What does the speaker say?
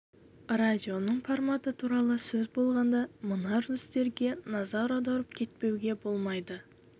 радионың форматы туралы сөз болғанда мына үрдістерге де назар аударып кетпеуге болмайды